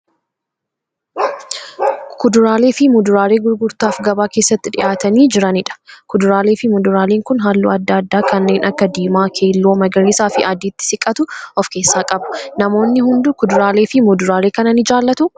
Kuduraalee fi Muduraalee gurgurtaaf gabaa keessatti dhiyaatanii jiraniidha. Kuduraalee fi Muduraaleen kun halluu adda addaa kanneen akka diimaa, keelloo magariisa fi adiitti siqatu of keessaa qabu. Namoonni hunduu Kuduraalee fi Muduraalee kana ni jaallatuu?